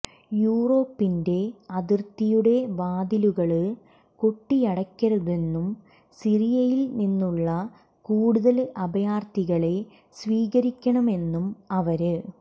യുറോപ്പിന്റെ അതിര്ത്തിയുടെ വാതിലുകള് കൊട്ടിയടയ്ക്കരുതെന്നും സിറിയയില്നിന്നുള്ള കൂടുതല് അഭയാര്ഥികളെ സ്വീകരിക്കണമെന്നും അവര്